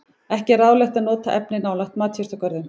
Ekki er ráðlegt að nota efnið nálægt matjurtagörðum.